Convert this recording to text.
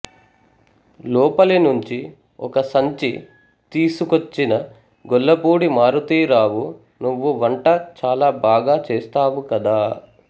లోపలి నుంచి ఒక సంచి తీసుకొచ్చిన గొల్లపూడి మారుతీరావు నువ్వు వంట చాలా బాగా చేస్తావు కదా